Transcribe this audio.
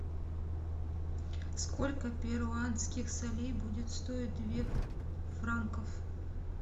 сколько перуанских солей будет стоить две франков